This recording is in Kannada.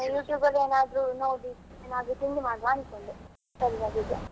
ನಾನು YouTube ಅಲ್ಲಿ ಏನಾದ್ರೂ ನೋಡಿ ಏನಾದ್ರೂ ತಿಂಡಿ ಮಾಡುವ ಅನ್ಕೊಂಡೆ .